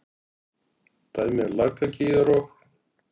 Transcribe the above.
Dæmi: Lakagígar og